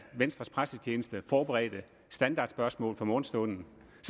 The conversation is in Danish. venstres pressetjeneste forberedte standardspørgsmål fra morgenstunden